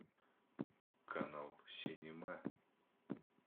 канал синема